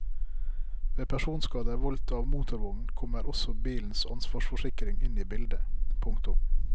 Ved personskader voldt av motorvogn kommer også bilens ansvarsforsikring inn i bildet. punktum